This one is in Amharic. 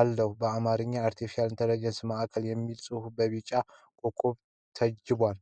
አለው። በአማርኛ "የአርቴፊሻል ኢንተለጀንስ ማዕከል" የሚል ጽሑፍ በቢጫ ኮከቦች ታጅቧል።